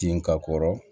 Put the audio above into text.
Tin ka kɔrɔ